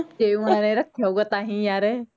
ਜੇ ਓਹਨਾਂ ਨੇ ਰੱਖਿਆ ਹੋਉਗਾ ਤਾਂਹੀਂ ਯਾਰ